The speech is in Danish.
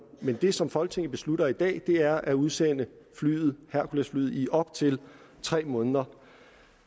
men det som folketinget beslutter i dag er at udsende herculesflyet i op til tre måneder